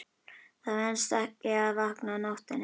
Það venst ekki að vakna á nóttunni.